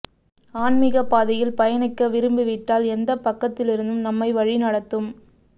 ஆன்மிக பாதையில் பயணிக்க விரும்பி விட்டால் எந்த பக்கத்திலிருந்தும் நம்மை வழி நடத்தும்